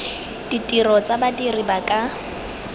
ditiro tsa badiri ba ka